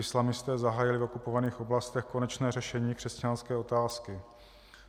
Islamisté zahájili v okupovaných oblastech konečné řešení křesťanské otázky.